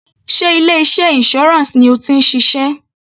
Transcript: Sé ilé iṣẹ́ insurance ni o ti ń ṣiṣẹ́?